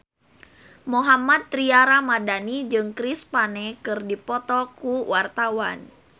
Mohammad Tria Ramadhani jeung Chris Pane keur dipoto ku wartawan